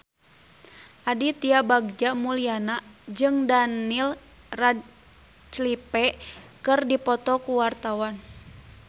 Aditya Bagja Mulyana jeung Daniel Radcliffe keur dipoto ku wartawan